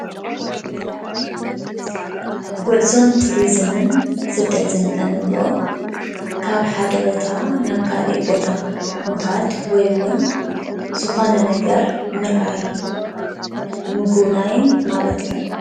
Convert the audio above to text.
ጉዕዞን ቱሪዝምን ስደትን እንብሎም ካብ ሓደ ቦታ ናብ ካሊእ ቦታ ምካድ ወይ እውን ዝኮነ ነገር ምርኣይን ምጉብናይን ማለት እዩ፡፡